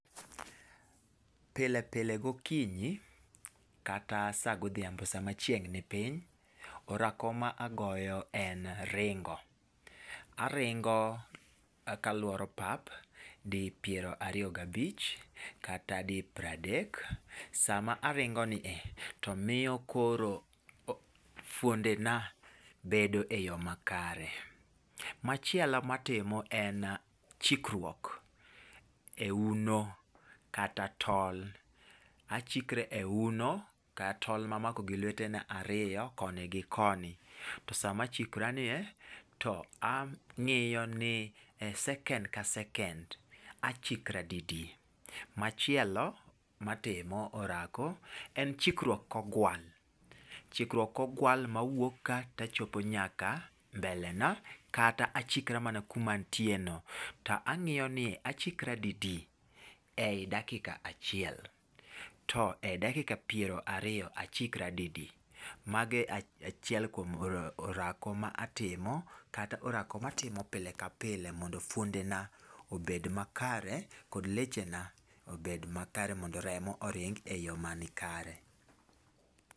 Pile pile gokinyi, kata saa godhiambo sama chieng' ni piny orako ma agoyo en ringo . Aringo ka luoro pap dipiero ariyo gabich kata dipra adek .Sama ringo ni e to miyo koro fuonde na bedo e yoo makare .Machielo en chikruok e uno kata tol achikra e uno kata tol mamako gi lwete na ariyo koni gi koni. To sama chikra nie en ni e sekend ka sekend achikra didi. Machielo matimo orako en chikruok kogwal chikruok kogwal mawuok ka ta chopo nyaka mbele na kata chikra mana kuma ntie no tang'iyo ni achikra didi e dakika chiel to ,e dakika piero ariyo achikra didi. Mage achie achiel kuom orako ma atimo kata orako matimo pile ka pile mondo fuonde na obed makare kod leche na obed makare mondo remo oring' e yoo mani kare.